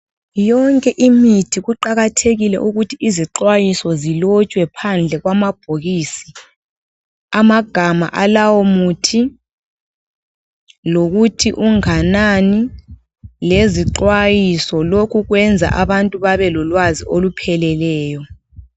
Yonke imithi kuqakathekile ukuthi izixwayiso zilotshwe phandle kwamabhokisi. Amagama alawo muthi ,lokuthi unganani, lezixwayiso. Lokhu kwenza abantu babelolwazi olupheleleyo.